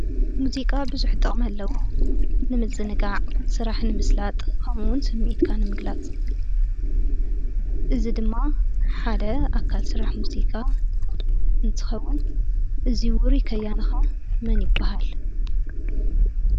ሙዚቃ ቡዙሕ ጥቅሚ አለዎ፡፡ ንምዝንጋዕ፣ ስራሕ ንምስላጥ ከምኡ’ውን ስሚዒትካ ንምግላፅ እዚ ድማ ሓደ አካል ስራሕ ውፅኢታዊ እንትኸውን፣ እዚ ውሩይ ከያኒ ኸአ መን ይበሃል?